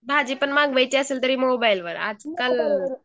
भाजी पण मागवायची असेल तर मोबाईल वर आजकाल